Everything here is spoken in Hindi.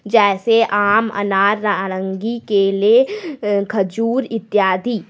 जैसे आम अनार नारंगी केले अ खजूर इत्यादि।